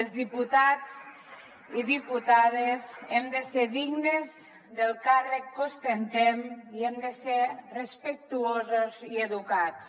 els diputats i diputades hem de ser dignes del càrrec que ostentem i hem de ser respectuosos i educats